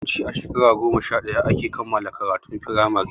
Yawanci a shekara goma sha ɗaya ake kammala karatun firamare